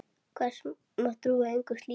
Hvers má trú gegn slíku?